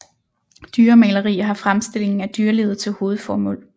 Dyremaleri har fremstillingen af dyrelivet til hovedformål